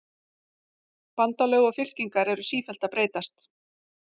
Bandalög og fylkingar eru sífellt að breytast.